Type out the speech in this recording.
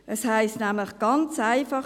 Es heisst nämlich ganz einfach: